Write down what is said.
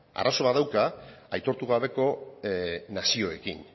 arazo bat dauka aitortu gabeko nazioekin